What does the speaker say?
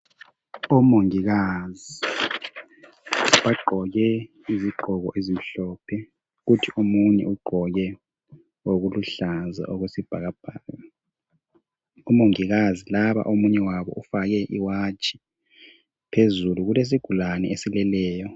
Omongikazi bagqoke izigqoko ezimhlophe kuthi omunye ugqoke okuluhlaza okwesibhakabhaka. OMongikazi laba omunye wabo ufake iwatshi, phezulu kulesigulani esileleyo.